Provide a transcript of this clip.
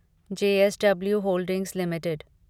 JSW holdings limited